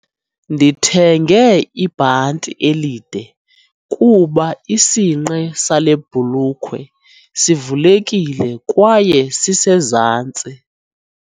Ndithenge ibhanti elide kuba isinqe sale bhulukhwe sivulekile kwaye sisezantsi.